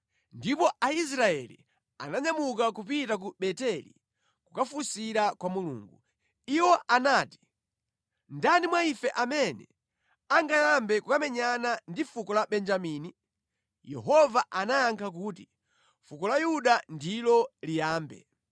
Ndipo Aisraeli ananyamuka kupita ku Beteli kukafunsira kwa Mulungu. Iwo anati, “Ndani mwa ife amene angayambe kukamenyana ndi fuko la Benjamini?” Yehova anayankha kuti, “Fuko la Yuda ndilo liyambe.”